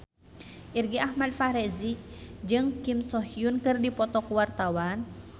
Irgi Ahmad Fahrezi jeung Kim So Hyun keur dipoto ku wartawan